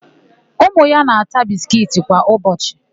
Ụmụ ya na-ata biskiiti kwa ụbọchị.